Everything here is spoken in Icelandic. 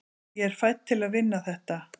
ég er fædd til að vinna þetta